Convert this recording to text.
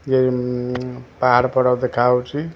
ଏ ---ମ ପାହାଡ ପର୍ବତ ଦେଖା ଯାଉଛି ।